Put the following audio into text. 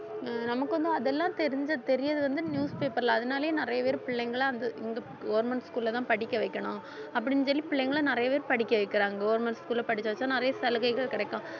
ஹம் நமக்கு வந்து அதெல்லாம் தெரிஞ்ச தெரியுறது வந்து newspaper ல அதனாலேயே நிறைய பேரு பிள்ளைங்கலாம் வந்து இந்து government school லதான் படிக்க வைக்கணும் அப்படின்னு சொல்லி பிள்ளைங்களை நிறைய பேர் படிக்க வைக்கிறாங்க government school ல படிக்க வச்சாதான் நிறைய சலுகைகள் கிடைக்கும்